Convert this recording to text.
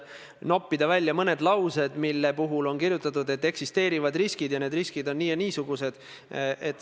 Siiamaani, niipalju kui minule on allkirjastamiseks dokumente tulnud, olen ma need ise saatnud kooskõlastusringile, mis on hõlmanud erinevaid huvigruppe.